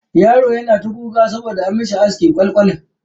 Yaron yana ta kuka saboda an masa askin kwal kwal.